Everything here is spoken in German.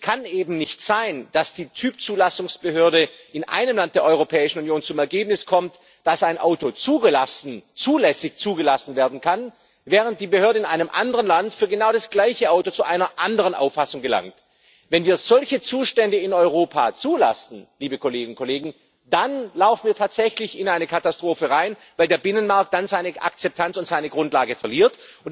Es kann eben nicht sein, dass die Typzulassungsbehörde in einem Land der Europäischen Union zum Ergebnis kommt, dass ein Auto zulässig zugelassen werden kann, während die Behörde in einem anderen Land für genau das gleiche Auto zu einer anderen Auffassung gelangt. Wenn wir solche Zustände in Europa zulassen, dann laufen wir tatsächlich in eine Katastrophe rein, weil der Binnenmarkt dann seine Akzeptanz und seine Grundlage verliert.